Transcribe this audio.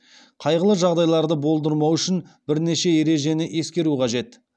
қайғылы жағдайларды болдырмау үшін бірнеше ережені ескеру қажет